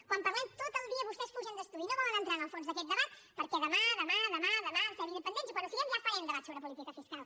quan parlem tot el dia vostès fugen d’estudi no volen entrar en el fons d’aquest debat perquè demà demà demà demà serem independents i quan ho siguem ja farem debats sobre política fiscal